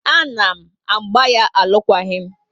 A na m agba ya alukwaghi m